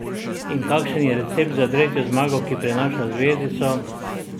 In kakšen je recept za tretjo zmago, ki prinaša zvezdico?